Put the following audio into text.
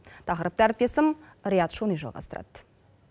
тақырыпты әріптесім рият шони жалғастырады